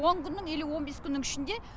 он күннің или он бес күннің ішінде